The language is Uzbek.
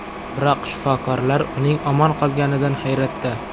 Biroq shifokorlar uning omon qolganidan hayratda.